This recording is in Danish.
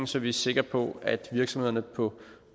så vi er sikre på at virksomhederne på